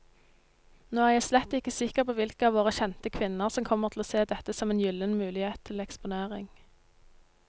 Nå er jeg slett ikke sikker på hvilke av våre kjente kvinner som kommer til å se dette som en gyllen mulighet til eksponering.